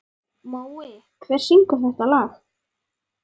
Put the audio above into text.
Mói, hver syngur þetta lag?